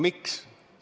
Miks?